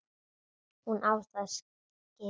Hún á það skilið.